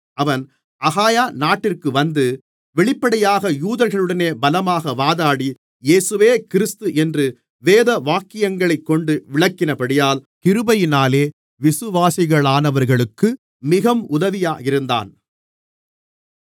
அவன் அகாயா நாட்டிற்கு வந்து வெளிப்படையாக யூதர்களுடனே பலமாக வாதாடி இயேசுவே கிறிஸ்து என்று வேதவாக்கியங்களைக் கொண்டு விளக்கினபடியால் கிருபையினாலே விசுவாசிகளானவர்களுக்கு மிகவும் உதவியாக இருந்தான்